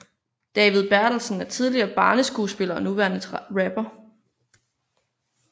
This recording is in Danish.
David Bertelsen er en tidligere barneskuespiller og nuværende rapper